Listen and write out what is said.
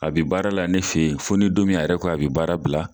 A bi baara la ne fe yen , fo ni don min a yɛrɛ ko a bi baara bila.